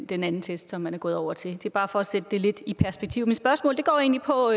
den anden test som man er gået over til det er bare for at sætte det lidt i perspektiv mit spørgsmål går egentlig på